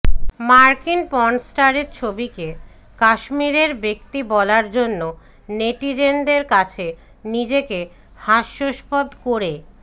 মার্কিন পর্নস্টারের ছবিকে কাশ্মীরের ব্যক্তি বলার জন্য নেটিজেনদের কাছে নিজেকে হাস্যাস্পদ করে